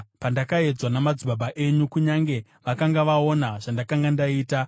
pandakaedzwa namadzibaba enyu kunyange vakanga vaona zvandakanga ndaita.